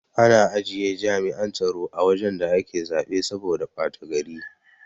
Ana ajiye jami'an tsaro a wajan da ake zaɓe saboda bata gari